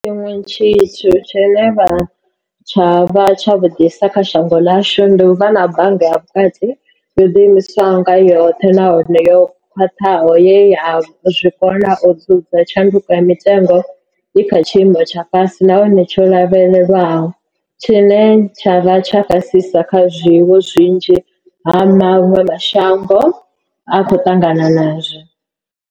Tshiṅwe tshithu tshine tsha vha tshavhuḓisa kha shango ḽashu, ndi u vha na bannga ya Vhukati yo ḓi imisaho nga yoṱhe nahone yo khwaṱhaho ye ya zwi kona u dzudza tshanduko ya mitengo i kha tshiimo tsha fhasi nahone tsho lavhelelwaho, tshine tsha vha fhasisa kha zwine vhunzhi ha maṅwe mashango a khou ṱangana nazwo.